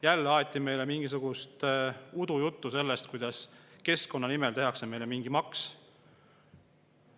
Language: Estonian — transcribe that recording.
Jälle aeti meile mingisugust udujuttu sellest, kuidas keskkonna nimel tehakse meile mingi maks.